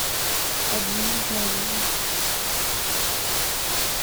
обмен женами